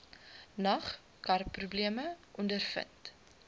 nag karprobleme ondervind